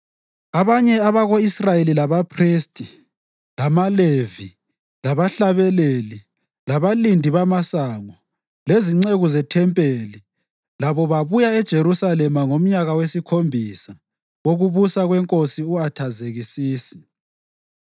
Abanye abako-Israyeli, labaphristi, lamaLevi, labahlabeleli, labalindi bamasango lezinceku zethempelini labo babuya eJerusalema ngomnyaka wesikhombisa wokubusa kwenkosi u-Athazekisisi.